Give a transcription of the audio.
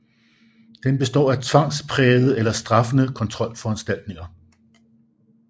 Den består af tvangsprægede eller straffende kontrolforanstaltninger